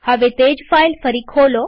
હવે તે જ ફાઈલ ફરી ખોલો